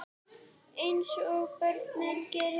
Eins og börn gera.